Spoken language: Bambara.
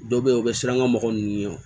Dɔw bɛ yen u bɛ siran ŋa mɔgɔ ninnu ye wo